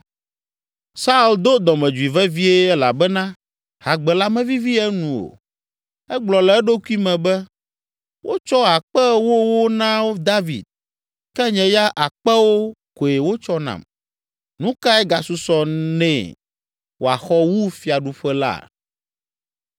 Saul do dɔmedzoe vevie elabena hagbe la mevivi enu o. Egblɔ le eɖokui me be, “Wotsɔ akpe ewowo na David, ke nye ya akpewo koe wotsɔ nam. Nu kae gasusɔ nɛ wòaxɔ wu fiaɖuƒe la?”